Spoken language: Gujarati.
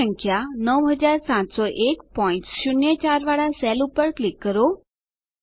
કુલ સંખ્યા 970104 વાળા સેલ પર ક્લિક કરો